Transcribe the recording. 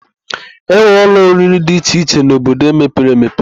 E nwere ụlọ oriri dị iche iche n'obodo mepere emepe.